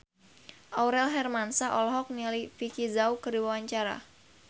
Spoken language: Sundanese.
Aurel Hermansyah olohok ningali Vicki Zao keur diwawancara